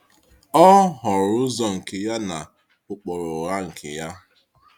Ọ họọrọ ụzọ nke ya na ụkpụrụ ụgha nke ya.